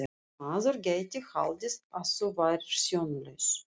Maður gæti haldið að þú værir sjónlaus!